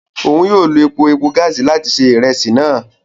Òun yóò ló epo-epo gaasi làti se iresi náà